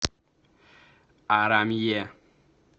арамье